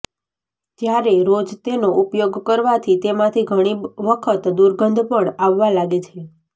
જ્યારે રોજ તેનો ઉપયોગ કરવાથી તેમાથી ઘણી વખત દુર્ગંધ પણ આવવા લાગે છે